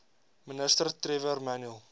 ministers trevor manuel